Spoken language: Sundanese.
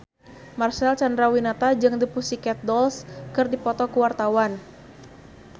Marcel Chandrawinata jeung The Pussycat Dolls keur dipoto ku wartawan